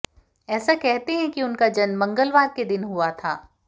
ऐसा कहते हैं कि उनका जन्म मंगलवार के दिन हुआ था